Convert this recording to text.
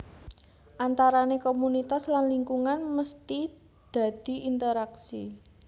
Antarane komunitas lan lingkungan mesti dadi interaksi